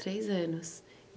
Três anos.